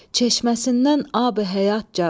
Çeşməsindən abi-həyat car olur.